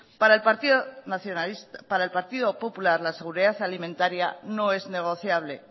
para el partido popular la seguridad alimentaria no es negociable